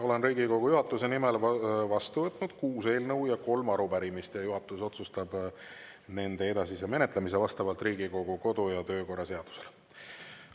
Olen Riigikogu juhatuse nimel vastu võtnud kuus eelnõu ja kolm arupärimist ning juhatus otsustab nende edasise menetlemise vastavalt Riigikogu kodu‑ ja töökorra seadusele.